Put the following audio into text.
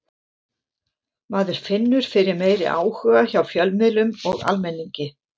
Maður finnur fyrir meiri áhuga hjá fjölmiðlum og almenningi.